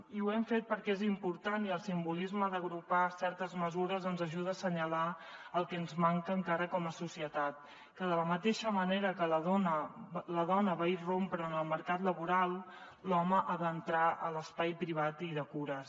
i ho hem fet perquè és important i el simbolisme d’agrupar certes mesures ens ajuda a assenyalar el que ens manca encara com a societat que de la mateixa manera que la dona va irrompre en el mercat laboral l’home ha d’entrar a l’espai privat i de cures